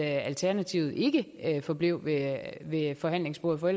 alternativet ikke forblev ved ved forhandlingsbordet for